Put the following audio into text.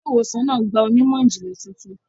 Ilé-ìwòsàn náà gba onímọ̀-ìjìnlẹ̀ tuntun.